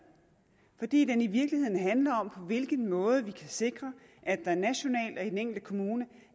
fordi den i virkeligheden handler om på hvilken måde vi kan sikre at der nationalt og i den enkelte kommune